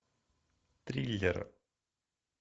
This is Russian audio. триллер